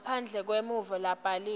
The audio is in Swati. ngaphandle kwemvumo lebhaliwe